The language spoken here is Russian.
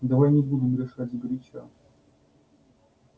давай не будем решать сгоряча